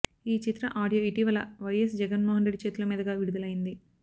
ఈ చిత్ర ఆడియో ఇటీవల వైయస్ జగన్మోహన్రెడ్డి చేతుల మీదుగా విడుదలైంది